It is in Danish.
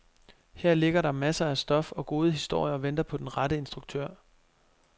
Her ligger der masser af stof og gode historier og venter på den rette instruktør.